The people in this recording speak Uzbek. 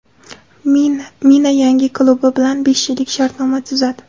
Mina yangi klubi bilan besh yillik shartnoma tuzadi.